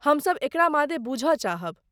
हम सब एकरा मादे बूझऽ चाहब।